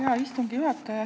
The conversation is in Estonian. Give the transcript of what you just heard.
Hea istungi juhataja!